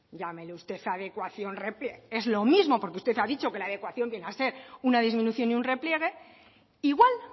llámele usted adecuación repliegue es lo mismo porque usted ha dicho que la adecuación viene a ser una disminución y un repliegue igual